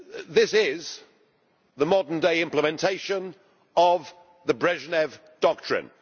This is the modern day implementation of the Brezhnev doctrine.